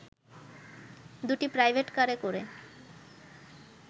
দুটি প্রাইভেটকারে করে